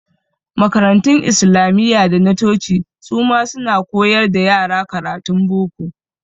Makarantun Islamiyya da na coci su ma suna koyar wa yara karatun boko.